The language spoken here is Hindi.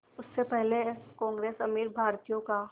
उससे पहले कांग्रेस अमीर भारतीयों का